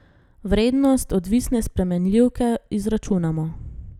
Vrednost odvisne spremenljivke izračunamo.